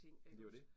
Det jo det